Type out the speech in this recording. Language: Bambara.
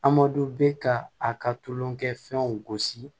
Amadu bɛ ka a ka tulonkɛfɛnw gosi